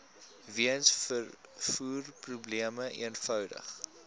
weens vervoerprobleme eenvoudig